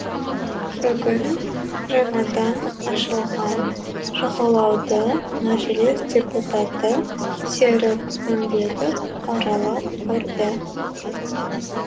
бүгін жаңадан ашылған жағалауды мәжіліс депутаты серік үмбетов аралап көрді